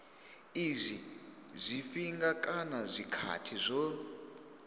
izwi zwifhinga kana zwikhathi zwo